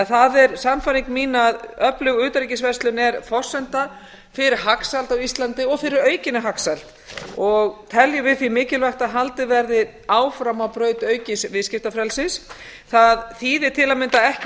það er því sannfæring mín að öflug utanríkisverslun sé forsenda fyrir hagsæld á íslandi og fyrir aukinni hagsæld og teljum við því mikilvægt að haldið verði áfram á braut aukins viðskiptafrelsis það þýðir til að mynda ekki